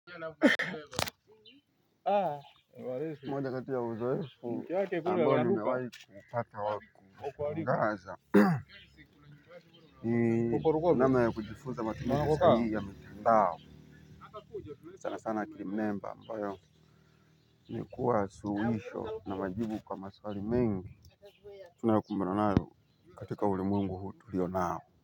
Moja kati ya uzoefu ambao nimewahi kupata wakushangaza. Ni nama ya kujifunza matumizi sahihi ya mtandao. Sana sana ki remember ambayo ni kuwa suluhisho na majibu kwa maswali mengi. Tuna kumbana nalo katika ulimwengu huu tuliyo nao.